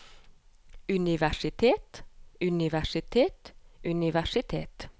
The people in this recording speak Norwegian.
universitet universitet universitet